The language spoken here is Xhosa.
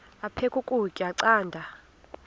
aphek ukutya canda